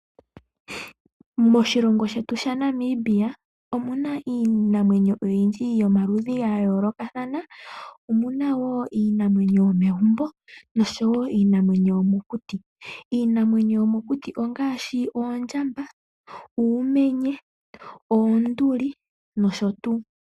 Moshilongo shetu Namibia omuna iinamwenyo oyindji yomaludhi ga yoolokathana omuna woo iinamwenyo yomegumbo nosho wo iinamwenyo yomokuti. IInamwenyo yomokuti ongaashi oondjamba, uumenye, oonduli nosho tuu.